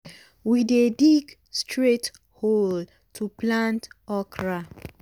we dey dig straight hole to plant okra.